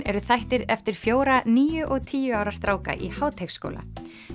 eru þættir eftir fjóra níu og tíu ára stráka í Háteigsskóla